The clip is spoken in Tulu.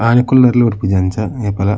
ಆಣಿ ಕುಲ್ಲರೆರ್ಲ ಬುಡ್ಪುಜಿ ಅಂಚ ಏಪಲ.